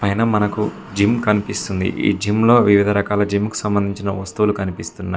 అయినా మనకు జిమ్ కనిపిస్తుంది ఈ జిమ్ లో వివిధ రకాల జిమ్ కి సంబంధించిన వస్తువులు కనిపిస్తున్నాయి.